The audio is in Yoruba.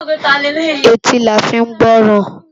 Éti lá fi n gbòròn